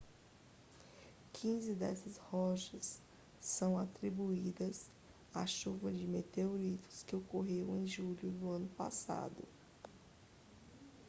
quinze dessas rochas são atribuídas à chuva de meteoritos que ocorreu em julho do ano passado